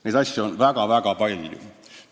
Neid asju on väga-väga palju.